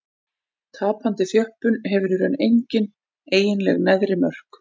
Tapandi þjöppun hefur í raun engin eiginleg neðri mörk.